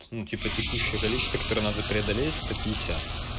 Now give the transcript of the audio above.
ну типа текущее количество которое надо преодолеть сто пятьдесят